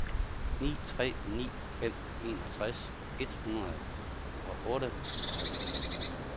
ni tre ni fem enogtres et hundrede og otteoghalvtreds